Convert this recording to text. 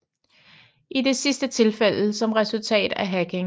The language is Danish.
I det sidste tilfælde som resultat af hacking